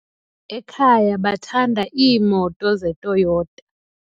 Ekhaya bathanda iimoto zeToyota.